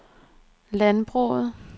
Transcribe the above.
landbruget